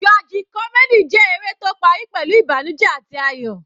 Tragic comedy jẹ́ eré tó parí pẹ̀lú ìbànújẹ àti ayọ̀.